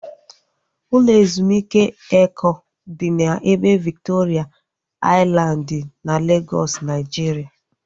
Ụlọ ezumike Eko dị n'ebe Viktoria Aịlandị na Legọs, Naijiria